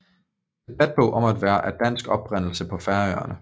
Debatbog om at være af dansk oprindelse på Færøerne